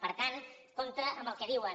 per tant compte amb el que diuen